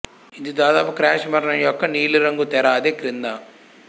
ఇది దాదాపు క్రాష్ మరణం యొక్క నీలిరంగు తెర అదే క్రింద